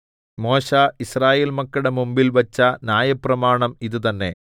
മോശെ യിസ്രായേൽ മക്കളുടെ മുമ്പിൽ വച്ച ന്യായപ്രമാണം ഇത് തന്നെ